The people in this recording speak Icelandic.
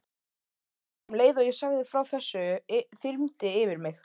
Um leið og ég sagði frá þessu þyrmdi yfir mig.